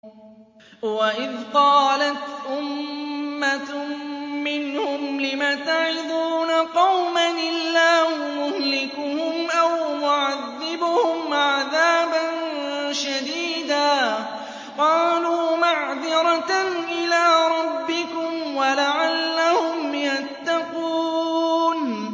وَإِذْ قَالَتْ أُمَّةٌ مِّنْهُمْ لِمَ تَعِظُونَ قَوْمًا ۙ اللَّهُ مُهْلِكُهُمْ أَوْ مُعَذِّبُهُمْ عَذَابًا شَدِيدًا ۖ قَالُوا مَعْذِرَةً إِلَىٰ رَبِّكُمْ وَلَعَلَّهُمْ يَتَّقُونَ